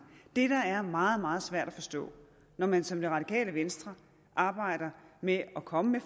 det der er meget meget svært at forstå når man som det radikale venstre arbejder med at komme med